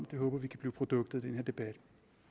det håber vi kan blive produktet af den her debat